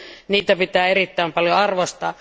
Niitä pitää erittäin paljon arvostaa.